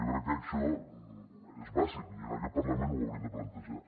jo crec que això és bàsic i en aquest parlament ho hauríem de plantejar